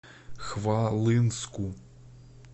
хвалынску